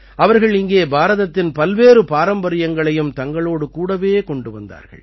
அவர்கள் இங்கே பாரதத்தின் பல்வேறு பாரம்பரியங்களையும் தங்களோடு கூடவே கொண்டு வந்தார்கள்